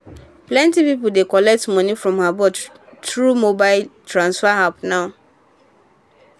plenty people dey collect money from abroad through mobile transfer apps now.